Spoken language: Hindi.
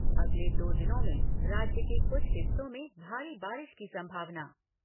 अगले दो दिनों में राज्य के कुछ हिस्सों में भारी बारिश की संभावना।